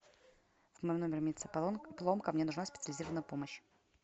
в моем номере имеется поломка мне нужна специализированная помощь